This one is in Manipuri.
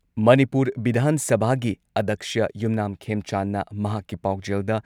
ꯃꯅꯤꯄꯨꯔ ꯚꯤꯙꯥꯟ ꯁꯚꯥꯒꯤ ꯑꯗꯛꯁ꯭ꯌ ꯌꯨꯝꯅꯥꯝ ꯈꯦꯝꯆꯥꯟꯗꯅ ꯃꯍꯥꯛꯀꯤ ꯄꯥꯎꯖꯦꯜꯗ,